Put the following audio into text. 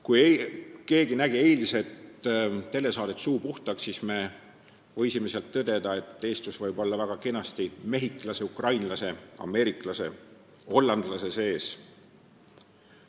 Kui keegi nägi eilset telesaadet "Suud puhtaks", siis me võisime selle peale tõdeda, et eestlus võib olla väga kenasti ka mehhiklase, ukrainlase, ameeriklase või hollandlase sees.